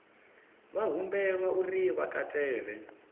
vha humbelwa uri vha katele